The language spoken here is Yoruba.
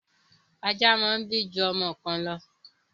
Ajá máa ń bí ju ọmọ kan lọ.